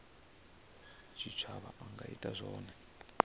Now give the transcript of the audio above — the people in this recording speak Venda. tshitshavha a nga ita zwone